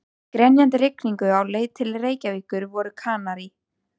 Í grenjandi rigningunni á leið til Reykjavíkur voru Kanarí